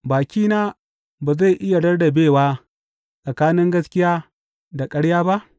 Bakina ba zai iya rarrabewa tsakanin gaskiya da ƙarya ba?